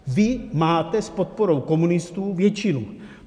Vy máte s podporou komunistů většinu.